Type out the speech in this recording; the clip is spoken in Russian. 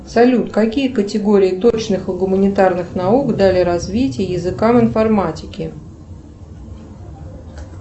салют какие категории точных и гуманитарных наук дали развитие языкам информатики